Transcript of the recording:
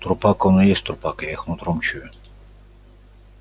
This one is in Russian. трупак он и есть трупак я их нутром чую